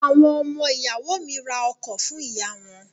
Àwọn ọmọ ìyàwó mi ra ọkọ̀ fún ìyá wọn.